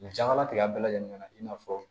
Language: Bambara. Janatigɛ bɛɛ lajɛlen na i n'a fɔ